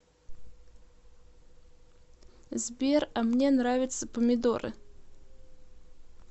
сбер а мне нравятся помидоры